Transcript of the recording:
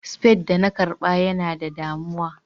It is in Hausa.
spade da na karba Yana da damuwa.